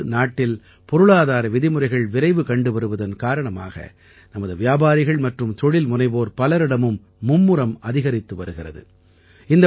இப்பொழுது நாட்டில் பொருளாதார விதிமுறைகள் விரைவு படுவதால் நமது வியாபாரிகள் மற்றும் தொழில் முனைவோர் பலரும் முனைப்பாக செயல்படுகிறார்கள்